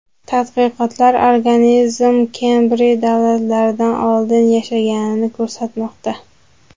Tadqiqotlar organizm Kembriy davridan oldin yashaganini ko‘rsatmoqda.